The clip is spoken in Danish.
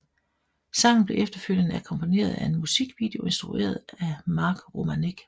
Sangen blev efterfølgende akkompagneret af en musikvideo instrueret af Mark Romanek